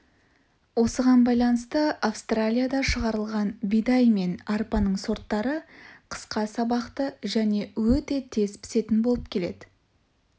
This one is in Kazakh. осыған байланысты австралияда шығарылған бидай мен арпаның сорттары қысқа сабақты және өте тез пісетін болып келеді